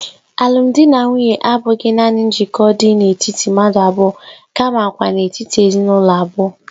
Alụmdi na nwunye abụghị nanị njikọ dị n'etiti mmadụ abụọ kamakwa n'etiti ezinụlọ abụọ.